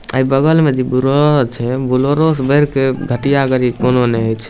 ए बगल में जे बुलेरो छै बुलेरो से बढ़ के घटिया गाड़ी कोनो ने होय छै।